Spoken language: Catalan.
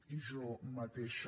i jo mateixa